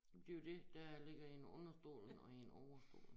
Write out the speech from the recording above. Det jo dét der ligger én under stolen og én over stolen